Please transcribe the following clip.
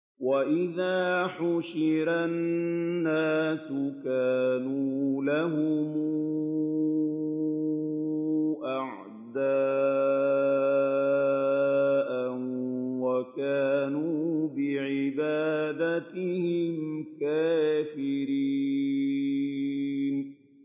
وَإِذَا حُشِرَ النَّاسُ كَانُوا لَهُمْ أَعْدَاءً وَكَانُوا بِعِبَادَتِهِمْ كَافِرِينَ